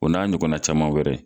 O n'a ɲɔgɔnna caman wɛrɛ.